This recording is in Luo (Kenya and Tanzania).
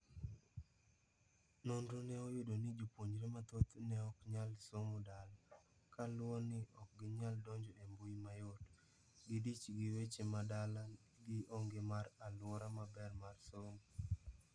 Nonro ne oyudo ni jopuonjre mathoth ne oknyal somo dala. Koluo ni okginyal donjo e mbui mayot, gidich gi weche ma dala gi onge mar aluora maber mar somo.